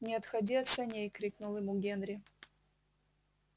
не отходи от саней крикнул ему генри